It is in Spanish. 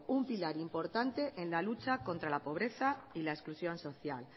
un pilar importante en la lucha contra la pobreza y la exclusión social